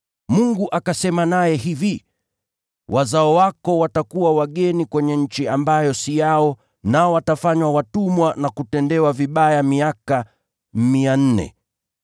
Mungu akasema naye hivi: ‘Wazao wako watakuwa wageni kwenye nchi ambayo si yao, nao watafanywa watumwa na kuteswa kwa miaka mia nne.’